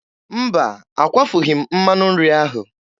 Mba, akwafughị m mmanụ nri ahụ.